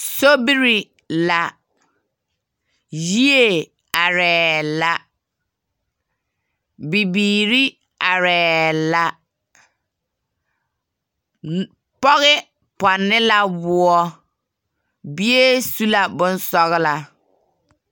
Sobie la, yie arɛɛ la, bibiiri arɛɛ la, n pɔge pɔnne la woɔ, bie su la bonsɔglaa.